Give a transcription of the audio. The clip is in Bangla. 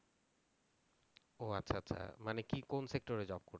ও আচ্ছা আচ্ছা। মানে কি কোন sector এ job করতে